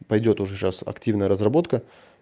пойдёт уже сейчас активная разработка